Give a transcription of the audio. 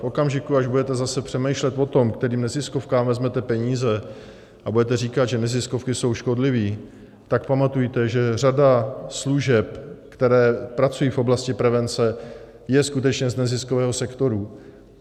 V okamžiku, až budete zase přemýšlet o tom, kterým neziskovkám vezmete peníze, a budete říkat, že neziskovky jsou škodlivé, tak pamatujte, že řada služeb, které pracují v oblasti prevence, je skutečně z neziskového sektoru.